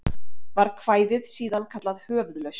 Var kvæðið síðan kallað Höfuðlausn.